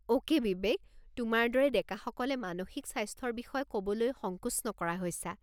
Okay Bibek, তোমাৰ দৰে ডেকাসকলে মানসিক স্বাস্থ্যৰ বিষয়ে ক'বলৈ সংকোচ নকৰা হৈছা।